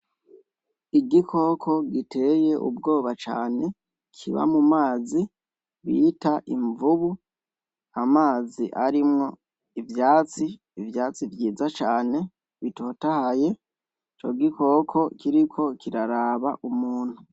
Igikoko kiba mumazi giteye ubwoba cane citwa invubu kiba mumazi, amazi arimwo ivyatsi, ivyatsi vyiza cane bitotahaye, ico gikoko kiriko kiraraba umuntu.